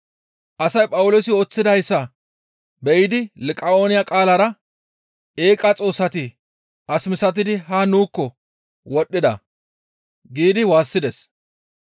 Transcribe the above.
Asay Phawuloosi ooththidayssa be7idi Liqa7ooniya qaalara, «Eeqa Xoossati as misatidi haa nuukko wodhdhida» giidi waassides.